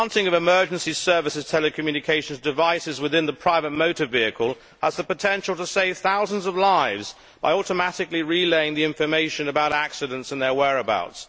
The implanting of emergency services' telecommunications devices within the private motor vehicle has the potential to save thousands of lives by automatically relaying the information about accidents and their whereabouts.